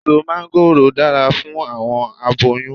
Eso máńgòrò dara fun awọn aboyun